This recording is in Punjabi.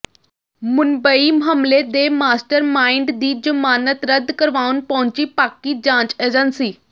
ਮੁੰਬਈ ਹਮਲੇ ਦੇ ਮਾਸਟਰਮਾਈਂਡ ਦੀ ਜ਼ਮਾਨਤ ਰੱਦ ਕਰਵਾਉਣ ਪਹੁੰਚੀ ਪਾਕਿ ਜਾਂਚ ਏਜੰਸੀ